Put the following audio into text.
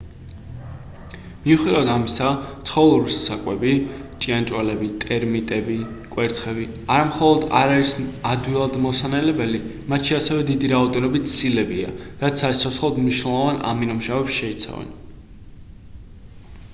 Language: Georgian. მიუხედავად ამისა ცხოველური საკვები ჭიანჭველები ტერმიტები კვერცხები არა მხოლოდ არ არის ადვილად მოსანელებელი მათში ასევე დიდი რაოდენობით ცილებია რაც საციცოცხლოდ მნიშვნელოვან ამინომჟავებს შეიცავენ